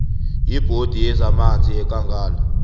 yibhodi yezamanzi yekangala